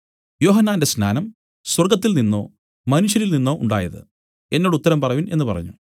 യോഹന്നാന്റെ സ്നാനം സ്വർഗ്ഗത്തിൽനിന്നോ മനുഷ്യരിൽനിന്നോ ഉണ്ടായത് എന്നോട് ഉത്തരം പറവിൻ എന്നു പറഞ്ഞു